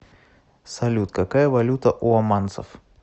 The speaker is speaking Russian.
салют какая валюта у оманцев